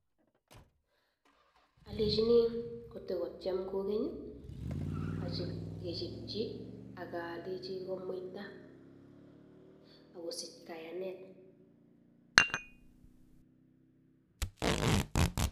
Alechini kotakotem kogeny kechabchi akwaldechi komuita akosich kayanet